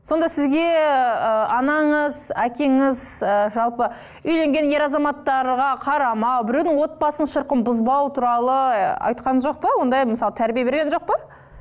сонда сізге ыыы анаңыз әкеңіз ы жалпы үйленген ер азаматтарға қарамау біреудің отбасының шырқын бұзбау туралы айтқан жоқ па ондай мысалы тәрбие берген жоқ па